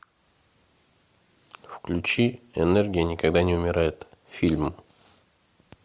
включи энергия никогда не умирает фильм